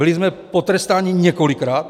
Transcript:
Byli jsme potrestáni několikrát.